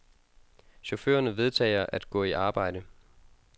Chaufførerne vedtager at gå i arbejde.